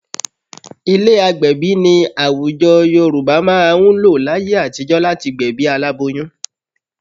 Ilé agbẹ̀bí ni àwùjọ Yorùbá máa ń lò láyé àtijọ́ láti gbẹ̀bí aláboyún